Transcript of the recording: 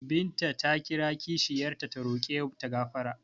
Binta ta kira kishiyar ta ta roƙe ta gafara.